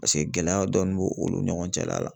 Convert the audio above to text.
Paseke gɛlɛya dɔɔni b'o olu ni ɲɔgɔn cɛla la.